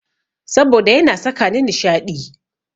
Saboda yana sakani nishaɗi.